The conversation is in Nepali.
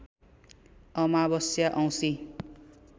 अमावस्या औंसी